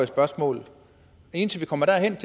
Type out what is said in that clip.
spørgsmål men indtil vi kommer derhen